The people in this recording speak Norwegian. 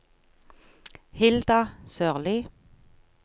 Hilda Sørlie